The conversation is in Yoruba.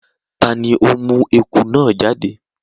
tá ní o mú ẹkú náa jáde?